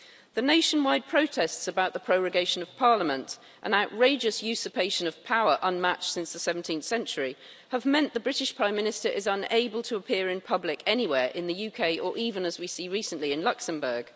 The nationwide protests about the prorogation of Parliament, an outrageous usurpation of power unmatched since the 17th century, have meant the British Prime Minister is unable to appear in public anywhere in the UK, or even, as we see recently, in Luxembourg.